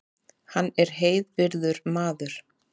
Hann er heiðvirður maður